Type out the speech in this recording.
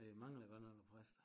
Der mangler godt nok æ præster